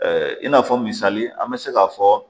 I n'a fɔ misali an bɛ se k'a fɔ